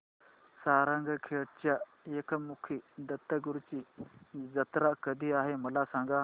सारंगखेड्याच्या एकमुखी दत्तगुरूंची जत्रा कधी आहे मला सांगा